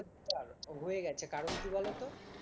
হয়ে গেছে কারণ কি বলতো